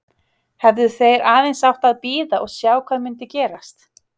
Hefðu þeir aðeins átt að bíða og sjá hvað myndi gerast?